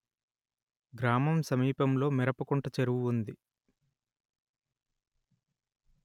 గ్రామం సమీపంలో మిరపకుంట చెరువు ఉంది